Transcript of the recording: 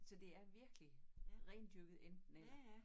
Så det er virkelig rendyrket enten eller